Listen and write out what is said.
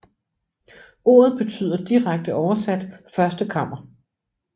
Ordet betyder direkte oversat første kammer